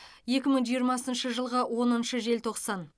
екі мың жиырмасыншы жылғы оныншы желтоқсан